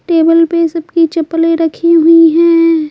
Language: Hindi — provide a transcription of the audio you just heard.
टेबल पे सबकी चप्पलें रखी हुई हैं।